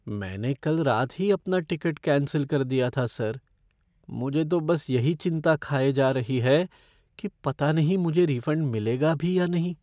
मैंने कल रात ही अपना टिकट कैंसिल कर दिया था सर। मुझे तो बस यही चिंता खाए जा रही है कि पता नहीं मुझे रिफ़ंड मिलेगा भी या नहीं।